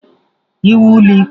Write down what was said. Iwu ụlọ ikpe!